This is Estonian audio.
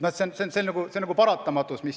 Nii see olukord on nagu paratamatus.